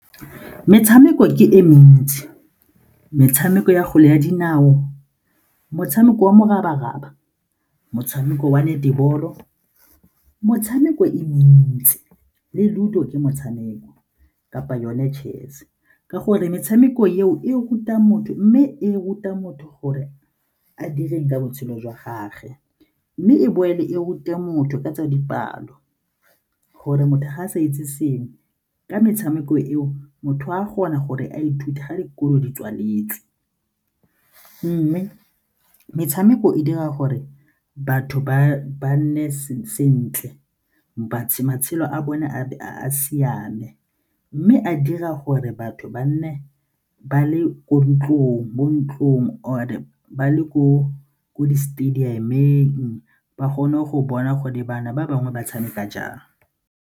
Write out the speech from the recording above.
Metshameko ke e mentsi, metshameko ya kgwele ya dinao, motshameko wa morabaraba, motshameko wa netball-o, motshameko e mentsi le Ludo ke motshameko kapa yone chess-e ka gore metshameko eo e ruta motho mme e ruta motho gore a dire ka botshelo jwa gage mme e boele e rute motho ka tsa dipalo gore motho ga a sa itse sengwe ka metshameko eo motho o a kgona gore a ithute dikolo di tswaletse mme metshameko e dira gore batho ba nne sentle matshelo a bone a be a siame mme a dira gore batho ba nne ba le mo ntlong or-e ba le ko di-stadium-eng, ba kgone go bona gore bana ba bangwe ba tshameka jang.